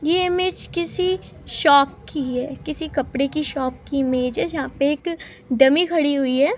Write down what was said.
ये इमेज किसी शॉप की है। किसी कपड़े की शॉप की इमेज है जहां पे एक डमी खड़ी हुई है।